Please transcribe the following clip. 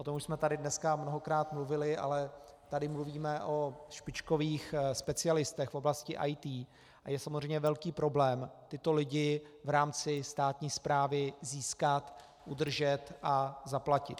O tom už jsme tady dneska mnohokrát mluvili, ale tady mluvíme o špičkových specialistech v oblasti IT a je samozřejmě velký problém tyto lidi v rámci státní správy získat, udržet a zaplatit.